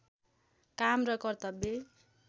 काम र कर्तव्य